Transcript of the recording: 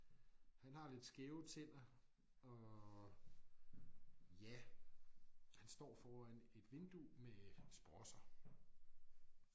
Han har lidt skæve tænder og ja han står foran et vindue med sprosser